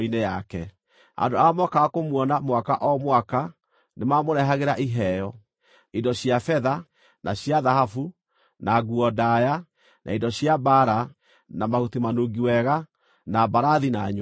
Andũ arĩa mookaga kũmuona mwaka o mwaka nĩmamũrehagĩra iheo; indo cia betha, na cia thahabu, na nguo ndaaya, na indo cia mbaara, na mahuti manungi wega, na mbarathi, na nyũmbũ.